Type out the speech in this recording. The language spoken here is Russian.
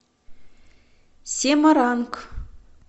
семаранг